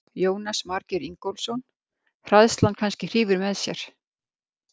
Jónas Margeir Ingólfsson: Hræðslan kannski hrífur með sér?